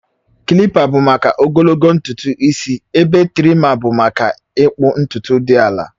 Kilipa bụ maka ogologo ntutu isi ebe trima bụ maka ịkpụ ntutu dị ala